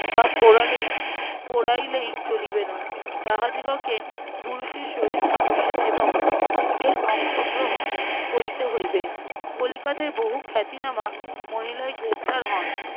বা বোড়ালেই~ পোড়াইলেই চলিবেনা তাহাদিগকে পুরুষের সহিত সমস্যা এবং ত্যাগের অংশগ্রহণ করিতে হইবে। কলিকাতায় বহু খাতিনামা মহিলাই গ্রেপ্তার হন।